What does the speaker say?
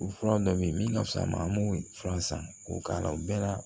O fura dɔ bɛ yen min ka fisa ma an b'o fura san k'o k'a la o bɛɛ la